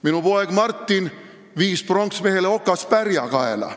Minu poeg Martin viis pronksmehele okaspärja kaela.